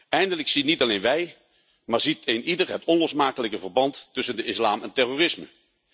Eindelijk zien niet alleen wij, maar ziet eenieder het onlosmakelijke verband tussen de islam en terrorisme.